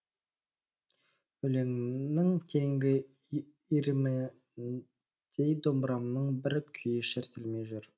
өлеңімнің тереңгі иріміндей домбырамның бір күйі шертілмей жүр